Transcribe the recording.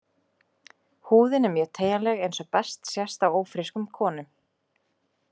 Húðin er mjög teygjanleg eins og best sést á ófrískum konum.